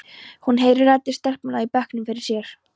Hún heyrir raddir stelpnanna í bekknum fyrir sér.